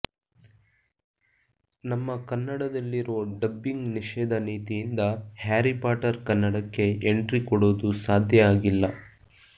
ನಮ್ಮ ಕನ್ನಡದಲ್ಲಿರೊ ಡಬ್ಬಿಂಗ್ ನಿಷೇಧ ನೀತಿಯಿಂದ ಹ್ಯಾರಿ ಪಾಟರ್ ಕನ್ನಡಕ್ಕೆ ಎಂಟ್ರಿ ಕೊಡೋದು ಸಾಧ್ಯ ಆಗಿಲ್ಲ